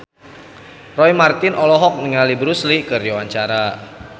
Roy Marten olohok ningali Bruce Lee keur diwawancara